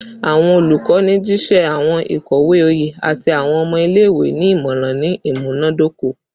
Awọn olukọni jiṣẹ awọn ikowe oye ati awọn ọmọ ile-iwe ni imọran ni imunadoko